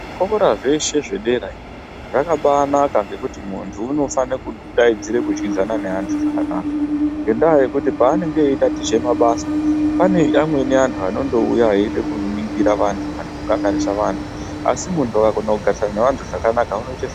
Zvikora zveshe zvedera iyo zvakabanaka ngekuti munhtu unofanire kudaidzirwe kudyidzana neanthu zvakanaka ngenda yekuti paanenge eiatiche mabasa pane anthu amweni anenge eiuya eide kuningira vanthu kana kukanganisa anthu, asi munhu akagona kugarisane neanthu zvakanaka unoite zvakanaka.